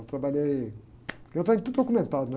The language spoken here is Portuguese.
Eu trabalhei... Porque eu tenho tudo documentado, né?